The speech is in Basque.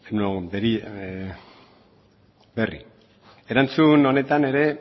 erantzun honetan ere